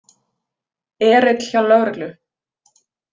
Erill hjá lögreglu